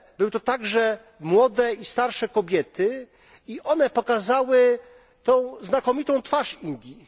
Były to także młode i starsze kobiety i one pokazały tą znakomitą twarz Indii.